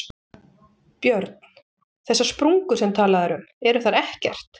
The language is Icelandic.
Björn: Þessar sprungur sem talað er um, eru þær ekkert?